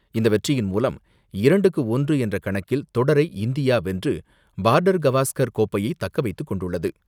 இந்த வெற்றியின் மூலம் இரண்டுக்கு ஒன்று என்ற கணக்கில் தொடரை இந்தியா வென்று பார்டர் கவாஸ்கர் கோப்பையை தக்கவைத்துக் கொண்டுள்ளது.